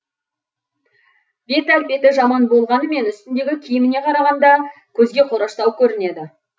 бет әлпеті жаман болмағанымен үстіндегі киіміне қарағанда көзге қораштау көрінеді